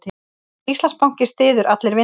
Íslandsbanki styður Allir vinna